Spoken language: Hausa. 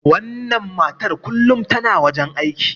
wannan matar kullum tana wajen aiki